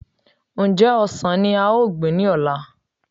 Ǹjẹ́ ọsàn ní a ò gbìn ní ọ̀la